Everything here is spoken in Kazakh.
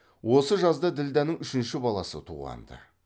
осы жазда ділдәнің үшінші баласы туғанды